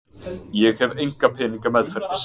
Ég hef enga peninga meðferðis.